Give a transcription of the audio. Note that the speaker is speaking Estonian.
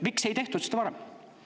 Miks ei tehtud seda varem?